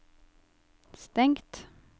stengt